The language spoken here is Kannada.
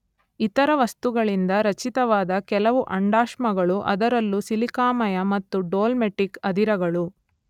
ಇತರ ವಸ್ತುಗಳಿಂದ ರಚಿತವಾದ ಕೆಲವು ಅಂಡಾಶ್ಮಗಳು ಅದರಲ್ಲೂ ಸಿಲಿಕಾಮಯ ಮತ್ತು ಡೋಲಮೆಟಿಕ್ ಅದಿರಗಳು